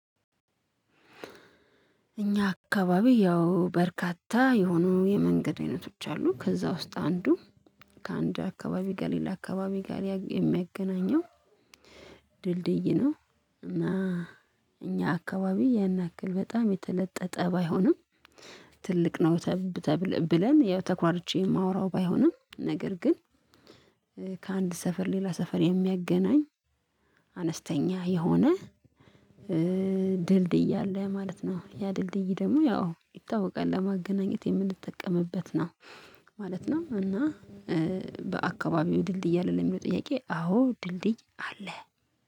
እኛ አካባቢ ያው በርካታ የሆኑ የመንገድ አይነቶች አሉ ከዛ ውስጥ አንዱ ከአንድ አካባቢ ጋር ሌላ አካባቢ ጋር የሚያገናኘው ድልድይ ነው። እና እኛ አካባቢ ያን ያክል በጣም የተለጠጠ ባይሆንም። ትልቅ ነው ተብለን ኮርቼ የማወራው ባይሆንም ነገር ግን። ከአንድ ሰፈር ሌላ ሰፈር የሚያገናኝ አነስተኛ የሆነ ድልድይ እያለ ማለት ነው። ያ ድልድይ ደግሞ ያው ይታወቃል ለማገናኘት የምንጠቀምበት ነው ማለት ነው። እና በአካባቢው ድልድይ አይደለም የሚለው ጥያቄ? አዎ ድልድይ አለ